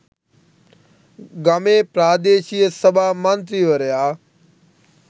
ගමේ ප්‍රාදේශීය සභා මන්ත්‍රීවරයා